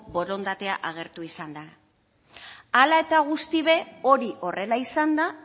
borondatea agertu izan da hala eta guzti be hori horrela izanda